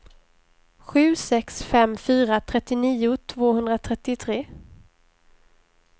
sju sex fem fyra trettionio tvåhundratrettiotre